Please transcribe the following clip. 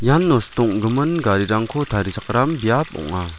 ian nosto ong·gimin garirangko tarichakram biap ong·a.